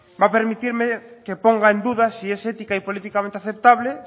va a permitirme que ponga en duda si es ética y políticamente aceptable